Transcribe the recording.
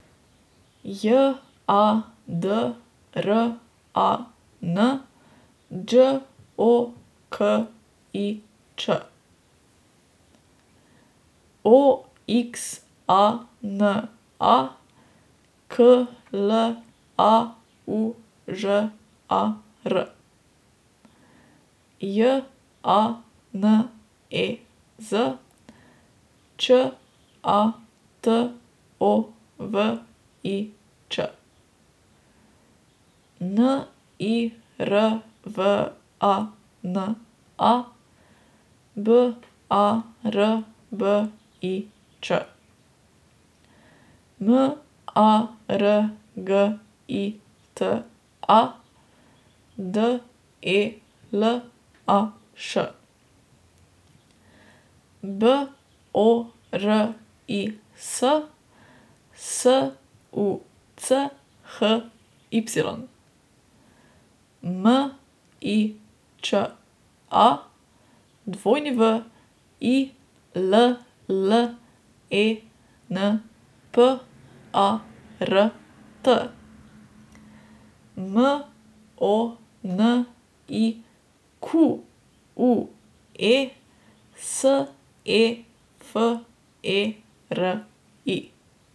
J A D R A N, Đ O K I Ć; O X A N A, K L A U Ž A R; J A N E Z, Ć A T O V I Ć; N I R V A N A, B A R B I Č; M A R G I T A, D E L A Š; B O R I S, S U C H Y; M I Ć A, W I L L E N P A R T; M O N I Q U E, S E F E R I.